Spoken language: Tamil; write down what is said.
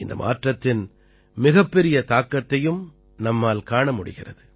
இந்த மாற்றத்தின் மிகப்பெரிய தாக்கத்தையும் நம்மால் காண முடிகிறது